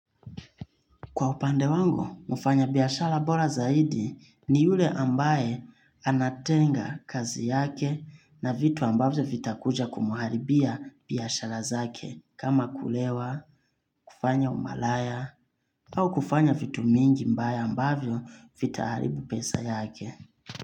Kwa upande wangu, mfanya biashara bora zaidi ni yule ambaye anatenga kazi yake na vitu ambavyo vitakuja kumuharibia biashara zake kama kulewa, kufanya umalaya au kufanya vitu mingi mbaya ambavyo vitaharibu pesa yake.